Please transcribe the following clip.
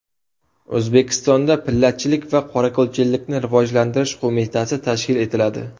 O‘zbekistonda Pillachilik va qorako‘lchilikni rivojlantirish qo‘mitasi tashkil etiladi.